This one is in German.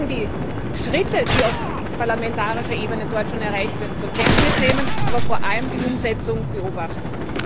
Wir müssen die Schritte, die auf parlamentarischer Ebene dort schon erreicht wurden, zur Kenntnis nehmen, aber vor allem die Umsetzung beobachten.